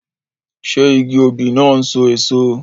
Ṣé igi òbí náà n so èso?